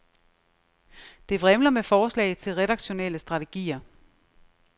Det vrimler med forslag til redaktionelle strategier.